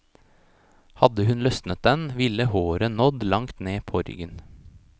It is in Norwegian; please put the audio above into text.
Hadde hun løsnet den, ville håret nådd langt ned på ryggen.